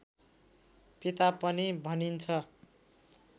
पिता पनि भनिन्छ